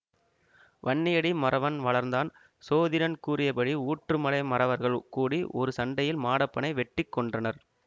வன்னியடி மறவன் வளர்ந்தான் சோதிடன் கூறியபடி ஊற்றுமலை மறவர்கள் கூடி ஒரு சண்டையில் மாடப்பனை வெட்டி கொன்றனர்